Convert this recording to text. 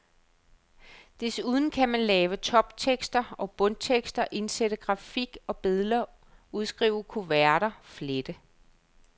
Desuden kan man lave toptekster og bundtekster, indsætte grafik og billeder, udskrive kuverter, flette.